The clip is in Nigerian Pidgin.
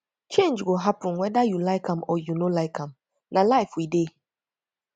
change go happen weda you like am or you no like am na life we dey